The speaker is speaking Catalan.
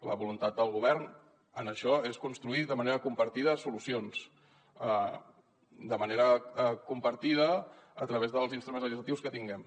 la voluntat del govern en això és construir de manera compartida solucions de manera compartida a través dels instruments legislatius que tinguem